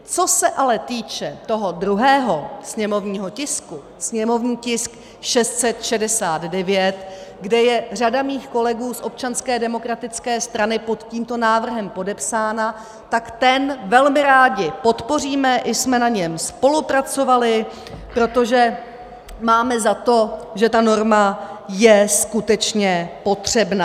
Co se ale týče toho druhého sněmovního tisku, sněmovní tisk 669, kde je řada mých kolegů z Občanské demokratické strany pod tímto návrhem podepsána, tak ten velmi rádi podpoříme, i jsme na něm spolupracovali, protože máme za to, že ta norma je skutečně potřebná.